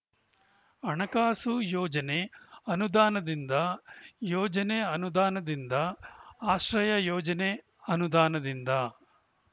ಹಣಕಾಸು ಯೋಜನೆ ಅನುದಾನದಿಂದ ಯೋಜನೆ ಅನುದಾನದಿಂದ ಆಶ್ರಯ ಯೋಜನೆ ಅನುದಾನದಿಂದ